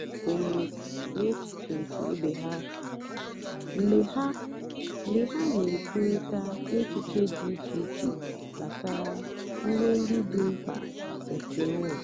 ha kwènyèrè n'èchìchè nkè ìbè ha mgbe ha mgbe ha na-èkwùrị̀ta èchìchè dị́ ìchè ìchè gbàsàrà ihe ndí dị́ mkpá nkè onwé.